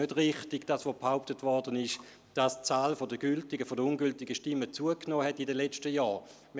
Zur Anzahl der ungültigen Stimmen, die in den letzten Jahren zugenommen hätten, wie behauptet worden ist: